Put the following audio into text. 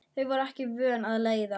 Þau voru ekki vön að leiðast.